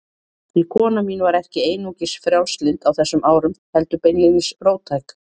Því kona mín var ekki einungis frjálslynd á þessum árum, heldur beinlínis róttæk.